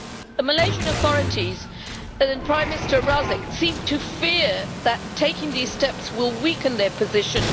The Malaysian authorities and Prime Minister Razak seem to fear that taking these steps will weaken their position.